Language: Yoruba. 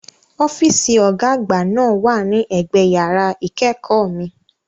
Ọ́fíìsì Ọ̀gá àgbà náà wà ní ẹ̀gbẹ yàrá ìkẹ́kọ̀ọ́ mi